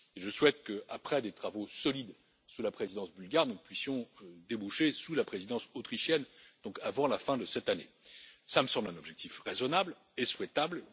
Je souhaite qu'après des travaux solides sous la présidence bulgare, nous puissions déboucher sur un accord sous la présidence autrichienne, donc avant la fin de cette année. Cela me semble un objectif raisonnable et souhaitable.